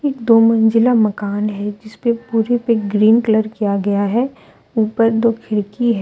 एक दो मंजिला मकान है जिसपे पूरे पे ग्रीन कलर किया गया है ऊपर दो खिड़की है।